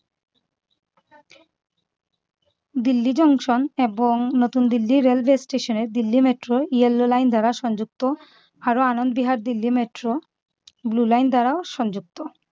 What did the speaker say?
Delhi junction এবং নতুন Delhi railway স্টেশনে দিল্লি মেট্রো yellow line দ্বারা সংযুক্ত আরও Anand Vihar Delhi metro blue line দ্বারা সংযুক্ত।